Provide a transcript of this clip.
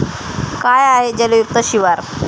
काय आहे जलयुक्त शिवार?